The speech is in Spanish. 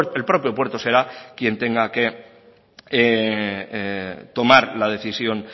el propio puerto será quién tenga que tomar la decisión